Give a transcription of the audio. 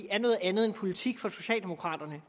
er noget andet end politik for socialdemokraterne